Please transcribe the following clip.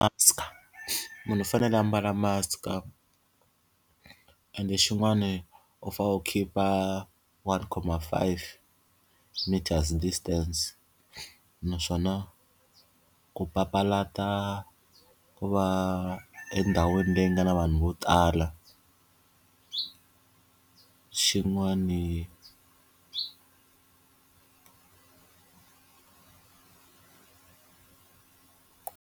Munhu u fanele u ambala mask-a ende xin'wani u fanele u khipha one comma five meters distance. Naswona ku papalata ku va endhawini leyi nga na vanhu vo tala. Xin'wani.